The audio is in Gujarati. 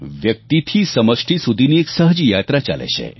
વ્યક્તિથી સમષ્ટિ સુધીની એક સહજ યાત્રા ચાલે છે